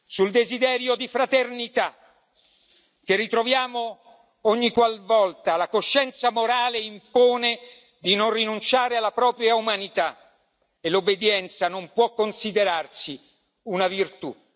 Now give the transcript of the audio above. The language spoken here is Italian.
sul desiderio di fraternità che ritroviamo ogniqualvolta la coscienza morale impone di non rinunciare alla propria umanità e l'obbedienza non può considerarsi una virtù.